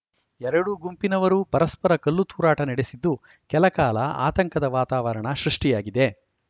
ಎರಡು ಗುಂಪಿನವರೂ ಪರಸ್ಪರ ಕಲ್ಲು ತೂರಾಟ ನಡೆಸಿದ್ದು ಕೆಲಕಾಲ ಆತಂಕದ ವಾತಾವರಣ ಸೃಷ್ಟಿಯಾಗಿದೆ